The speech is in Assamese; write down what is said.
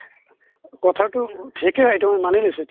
কথাটো ঠিকে হয় এইটো মানি লৈছো